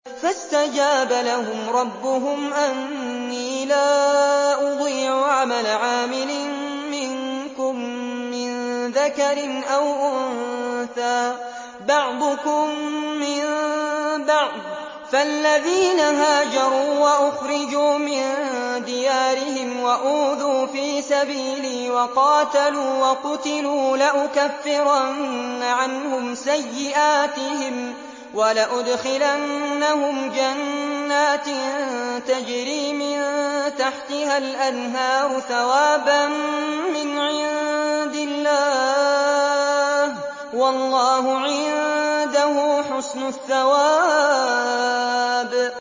فَاسْتَجَابَ لَهُمْ رَبُّهُمْ أَنِّي لَا أُضِيعُ عَمَلَ عَامِلٍ مِّنكُم مِّن ذَكَرٍ أَوْ أُنثَىٰ ۖ بَعْضُكُم مِّن بَعْضٍ ۖ فَالَّذِينَ هَاجَرُوا وَأُخْرِجُوا مِن دِيَارِهِمْ وَأُوذُوا فِي سَبِيلِي وَقَاتَلُوا وَقُتِلُوا لَأُكَفِّرَنَّ عَنْهُمْ سَيِّئَاتِهِمْ وَلَأُدْخِلَنَّهُمْ جَنَّاتٍ تَجْرِي مِن تَحْتِهَا الْأَنْهَارُ ثَوَابًا مِّنْ عِندِ اللَّهِ ۗ وَاللَّهُ عِندَهُ حُسْنُ الثَّوَابِ